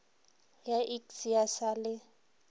ya iks ya sa le